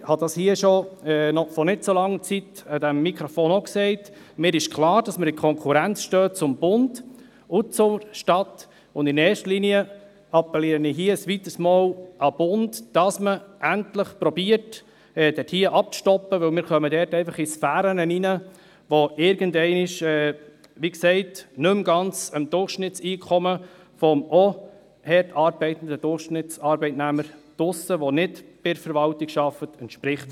Ich habe das hier schon vor nicht zu langer Zeit an diesem Mikrofon auch gesagt: Mir ist klar, dass wir in Konkurrenz zum Bund und zur Stadt stehen, und in erster Linie appelliere ich hier ein weiteres Mal an den Bund, dass man endlich probiert, das abzustoppen, weil wir dort einfach in Sphären hineinkommen, die irgendeinmal – wie gesagt – nicht mehr ganz dem Durchschnittseinkommen entsprechen, vom auch hart arbeitenden Durchschnittsarbeitnehmer draussen, der nicht bei der Verwaltung arbeitet.